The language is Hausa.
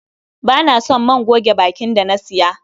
Ba na son man goge bakin da na siya.